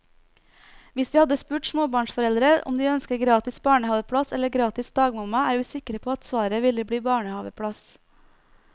Hvis vi hadde spurt småbarnsforeldre om de ønsker gratis barnehaveplass eller gratis dagmamma, er vi sikre på at svaret ville bli barnehaveplass.